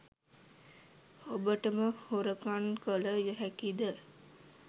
ඔබටම හොරකන් කල හැකිද?